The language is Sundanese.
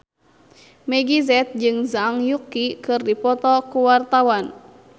Meggie Z jeung Zhang Yuqi keur dipoto ku wartawan